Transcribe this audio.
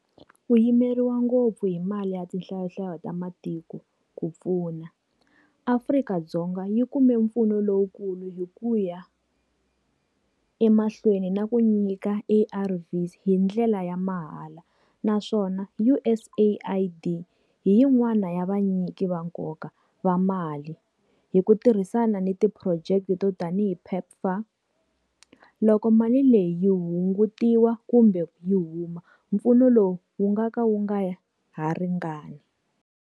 Ku yimeriwa ngopfu hi mali ya tinhlayonhlayo ta matiko. Ku pfuna, Afrika-Dzonga yi kumbe mpfuno lowukulu hi ku ya emahlweni na ku nyika A_R_Vs hi ndlela ya mahala. Naswona U_S AID hi yin'wana ya va nyiki va nkoka va mali hi ku tirhisana ni ti phurojeke to tanihi PEPFAR. Loko mali leyi yi hungutiwa kumbe yi huma, mpfuno lowu wu nga ka wu nga ha ringani.